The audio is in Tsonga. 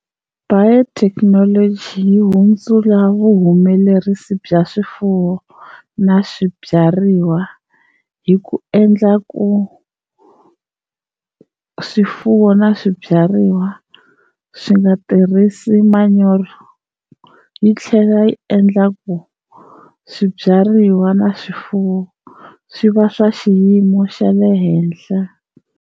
Biotechnology yi hundzula vuhumelerisi bya swifuwo na swibyariwa hi ku endla ku swifuwo na swibyariwa swi nga tirhisi manyoro, yi tlhela yi endla ku swibyariwa na swifuwo swi va swa xiyimo xa le henhla.